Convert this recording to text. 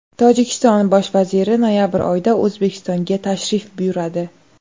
Tojikiston bosh vaziri noyabr oyida O‘zbekistonga tashrif buyuradi.